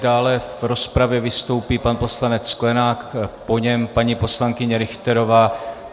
Dále v rozpravě vystoupí pan poslanec Sklenák, po něm paní poslankyně Richterová.